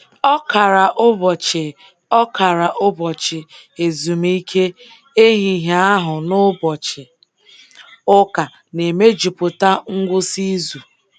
Ọkara ụbọchị Ọkara ụbọchị ezumike ehihie ahụ na ụbọchị ụka na-emejupụta ngwụsị izu.